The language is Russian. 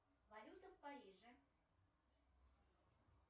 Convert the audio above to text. валюта в париже